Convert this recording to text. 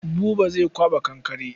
Buba zai kwaɓa kankare.